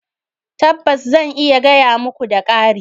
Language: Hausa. Tabbas! zan iya gaya muka, da ƙari